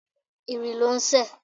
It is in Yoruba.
Ìrì ló ń sẹ̀.